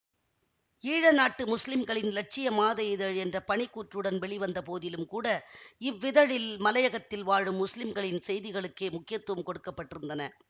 ஈழநாட்டு முஸ்லிம்களின் இலட்சிய மாத இதழ் என்ற பணிக்கூற்றுடன் வெளிவந்தபோதிலும்கூட இவ்விதழில் மலையகத்தில் வாழும் முஸ்லிம்களின் செய்திகளுக்கே முக்கியத்துவம் கொடுக்கப்பட்டிருந்தன